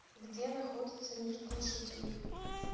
где находится мир глушителей